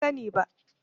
Ban sani ba.